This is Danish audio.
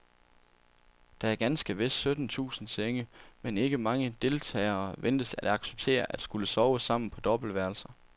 Der er ganske vist sytten tusind senge, men ikke mange deltagere ventes at acceptere at skulle sove sammen på dobbeltværelser.